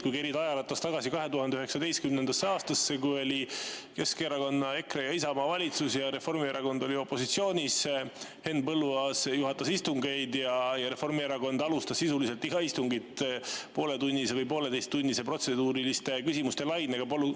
Kui kerida ajaratast tagasi 2019. aastasse, kui oli Keskerakonna, EKRE ja Isamaa valitsus ning Reformierakond oli opositsioonis, siis Henn Põlluaas juhatas istungeid ja Reformierakond alustas sisuliselt iga istungit pooletunnise või pooleteisetunnise protseduuriliste küsimuste lainega.